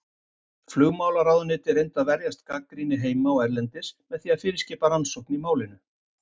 Flugmálaráðuneytið reyndi að verjast gagnrýni heima og erlendis með því að fyrirskipa rannsókn í málinu.